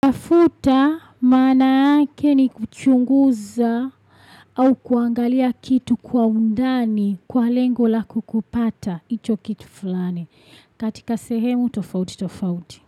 Kufuta maana yake ni kuchunguza. Au kuangalia kitu kwa undani kwa lengo la kukupata icho kitu fulani. Katika sehemu, tofauti, tofauti.